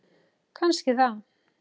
Kannski það.